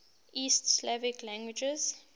east slavic languages